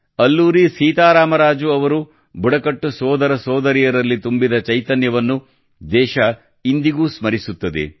ಅಲ್ಲೂರಿ ಸೀತಾರಾಮರಾಜು ಅವರು ಬುಡಕಟ್ಟು ಸೋದರ ಸೋದರಿಯರಲ್ಲಿ ತುಂಬಿದ ಚೈತನ್ಯವನ್ನು ದೇಶ ಇಂದಿಗೂ ಸ್ಮರಿಸುತ್ತದೆ